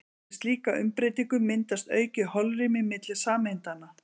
Við slíka umbreytingu myndast aukið holrými milli sameindanna.